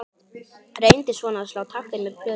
Reyndi svona að slá taktinn með plötum.